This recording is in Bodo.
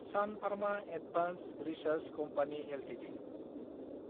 Sun Pharma Advanced Research Company Ltd